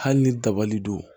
Hali ni dabali don